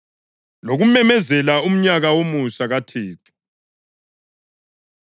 lokumemezela umnyaka womusa kaThixo.” + 4.19 U-Isaya 61.1-2